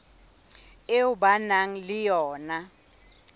eo ba nang le yona